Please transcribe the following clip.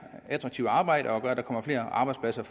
attraktive arbejde at der kommer flere arbejdspladser